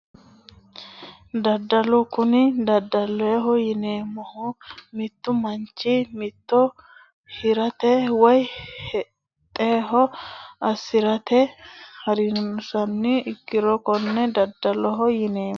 Daddalo kuni daddaloho yineemmohu mittu manchi mitto hirate woyi woxeho soorrirate hasirino uduunnicho dikko fushshe hirannoha ikkiro konne daddaloho yineemmo